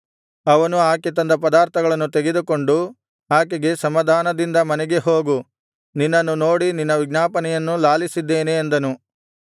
ಅವನು ಆಕೆ ತಂದ ಪದಾರ್ಥಗಳನ್ನು ತೆಗೆದುಕೊಂಡು ಆಕೆಗೆ ಸಮಾಧಾನದಿಂದ ಮನೆಗೆ ಹೋಗು ನಿನ್ನನ್ನು ನೋಡಿ ನಿನ್ನ ವಿಜ್ಞಾಪನೆಯನ್ನು ಲಾಲಿಸಿದ್ದೇನೆ ಅಂದನು